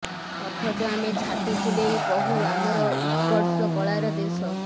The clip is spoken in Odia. ଅଥଚ ଆମେ ଛାତି ଫୁଲେଇ କହୁ ଆମର ଉତ୍କର୍ଷ କଳାର ଦେଶ